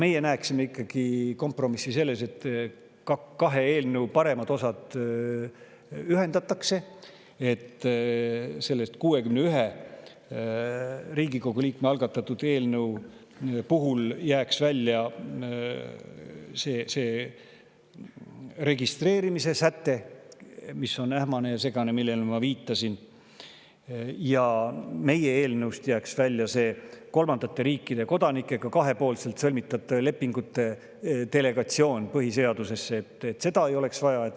Meie näeme kompromissi ikkagi selles, et kahe eelnõu paremad osad ühendatakse, nii et sellest 61 Riigikogu liikme algatatud eelnõust jääks välja see registreerimise säte, mis on ähmane ja segane, millele ma viitasin, ning meie eelnõust jääks välja kolmandate riikidega kahepoolselt sõlmitud lepingute delegeerimine põhiseadusesse, seda ei oleks vaja.